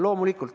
Loomulikult.